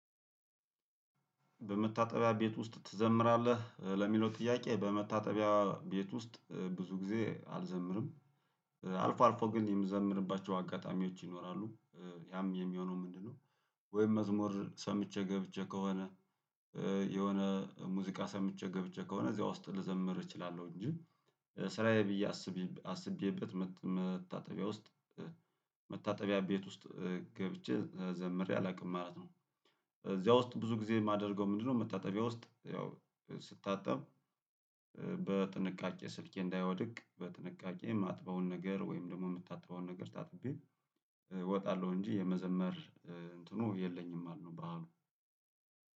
በመታጠቢያ ቤት ውስጥ ትዘምራለህ ለሚለው ጥያቄ በመታጠቢያ ቤት ውስጥ ብዙ ጊዜ አልዘምርም አልፎ አልፎ ግን የምዘምርባቸው አጋጣሚዎች ይኖራሉ ያም የሚሆነው ምንድነው? ወይም መዝሙር ሰምቼ ገብቼ ከሆነ። የሆነ ሙዚቃ ሰምቼ ገብቼ ከሆነ እዚያ ውስጥ ልዘምር እችላለሁ እንጂ። ስራዬ ብዬ አስቤበት መታጠቢያ ውስጥ መታጠቢያ ቤት ውስጥ ገብቼ ዘምሬ አላውቅም ማለት ነው። እዚያ ውስጥ ብዙ ጊዜ የማደርገው ምንድነው? መታጠቢያ ውስጥ ያው ስታጣብ። በጥንቃቄ ስልኬ እንዳይወድቅ በጥንቃቄ የማጥበውን ነገር ወይም ደግሞ የምታጠበውን ነገር ታጥቤ እወጣለሁ እንጂ የመዘመር እንትኑ የለኝም። አልነው ባሉ